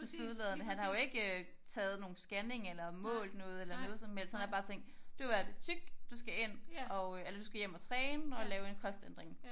Tilsyneladende han har jo ikke øh taget nogen scanning eller målt noget eller noget som helst han har bare tænkt du er ved at blive tyk du skal ind og eller du skal hjem og træne og lave en kostændring